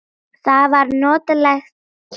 Það var notaleg kyrrð.